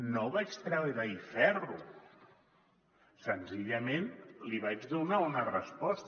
no vaig treure hi ferro senzillament li vaig donar una resposta